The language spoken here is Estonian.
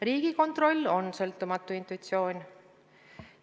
Riigikontroll on sõltumatu institutsioon.